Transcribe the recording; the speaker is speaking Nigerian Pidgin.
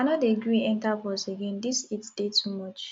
i no dey gree enta bus again dis heat dey too much